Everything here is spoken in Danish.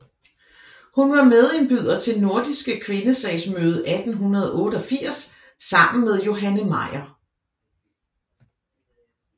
Hun var medindbyder til Nordiske Kvindesagsmøde 1888 sammen med Johanne Meyer